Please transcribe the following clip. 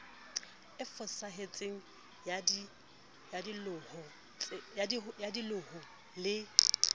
e fosahetseng ya dihlooho le